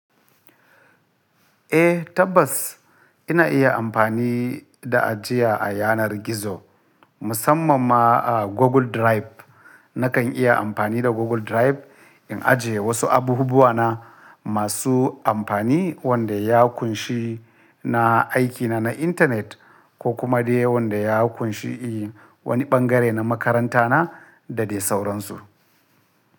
Eh tabbas ina iya amfani da ajiya a yanar gizo, musamman ma a Google Drive. Nakan iya amfani da Google Drive in ajiye wasu abubuwa na masu amfani wanda ya ƙunshi na aikina na intanet ko kuma dai wanda ya ƙunshi wani ɓangare na makaranta na da dai sauransu.